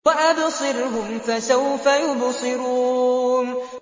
وَأَبْصِرْهُمْ فَسَوْفَ يُبْصِرُونَ